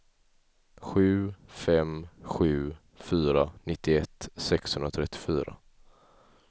sju fem sju fyra nittioett sexhundratrettiofyra